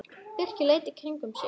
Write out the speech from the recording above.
Birkir leit í kringum sig.